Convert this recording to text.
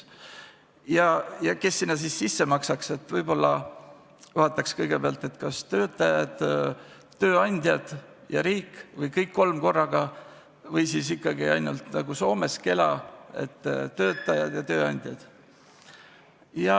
Aga kes siis sinna raha sisse maksaks: kas töötajad, tööandjad või riik või kõik kolm korraga või siis nagu Soomes Kela puhul, töötajad ja tööandjad?